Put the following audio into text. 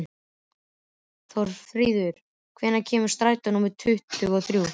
Þórfríður, hvenær kemur strætó númer tuttugu og þrjú?